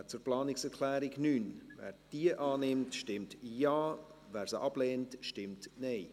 Wer die Planungserklärung 9 der SiK annehmen will, stimmt Ja, wer diese ablehnt, stimmt Nein.